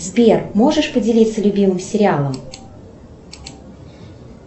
сбер можешь поделиться любимым сериалом